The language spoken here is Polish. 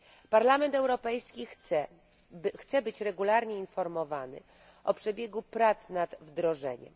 Parlament Europejski chce być regularnie informowany o przebiegu prac nad wdrożeniem.